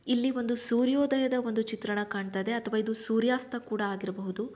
ಇಲ್ಲಿ ಒಂದು ಸೂರ್ಯೋದಯದ ಒಂದು ಚಿತ್ರಣ ಕಾಣ್ತಾಯಿದೆ ಅಥವಾ ಸೂರ್ಯಸ್ತ ಕೂಡ ಆಗಿರಬಹುದು.